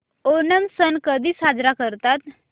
ओणम सण कधी साजरा करतात